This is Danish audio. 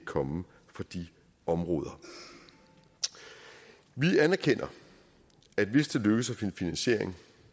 komme fra de områder vi anerkender at hvis det lykkes at finde finansiering